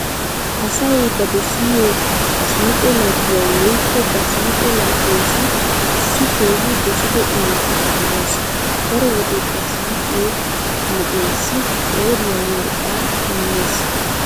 Asay ba dosiyo siiqo laggiyawu woykko ba siiqo laggeessi issi keehi dosido imotaa immees. Daro wode ba siiqiyo na'eesssi qooriya worqqaa immees.